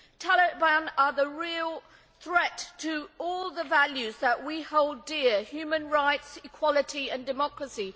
Taliban are the real threat to all the values that we hold dear, human rights, equality and democracy.